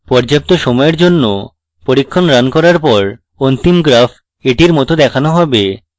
পর্যাপ্ত সময়ের জন্য পরীক্ষণ running করার পর অন্তিম graphs এটির মত দেখানো হবে